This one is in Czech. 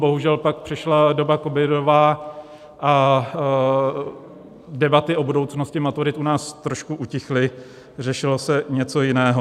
Bohužel, pak přišla doba covidová a debaty o budoucnosti maturit u nás trošku utichly, řešilo se něco jiného.